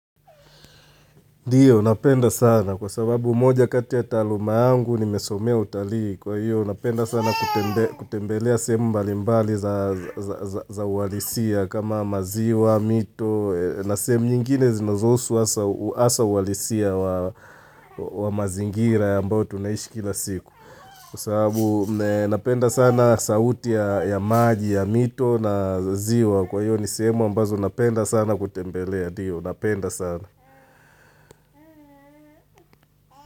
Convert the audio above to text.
Ndio napenda sana kwa sababu moja kati ya taluma angu nimesomea utalii. Kwa hiyo napenda sana kutembelea sehemu mbali mbali za uwalisia kama maziwa, mito na sehemu nyingine zinazosu asa uwalisia wa mazingira ambayo tunaishi kila siku. Kwa sababu napenda sana sauti ya maji ya mito na ziwa kwa hiyo nisehemu ambazo napenda sana kutembelea. Ndio napenda sana.